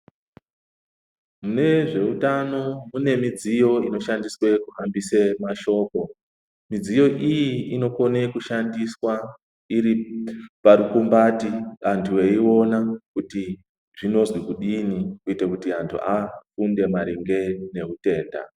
Mune zveutano kune midziyo inoshandiswe kuhambise mashoko. Midziyo iyi inokone kushandiswa iri parukumbati antu eiona kuti zvinozwi kudini kuite kuti antu afunde maringe nehutenda.